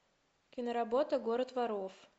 киноработа город воров